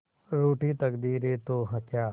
रूठी तकदीरें तो क्या